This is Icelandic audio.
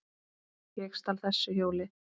Ég stal ekki þessu hjóli!